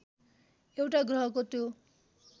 एउटा ग्रहको त्यो